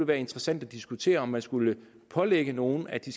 være interessant at diskutere om man skulle pålægge nogle at de